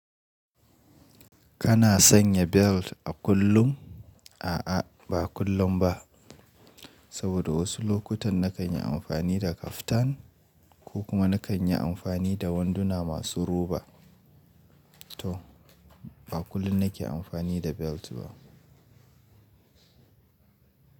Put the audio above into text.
Kana sanya belt a kullum? A'a, ba kullum ba. Saboda wasu lokutan na kan yi amfani da kaftan ko kuma na kan yi amfani da wanduna masu roba. To ba kullum nake amfani da belt ba.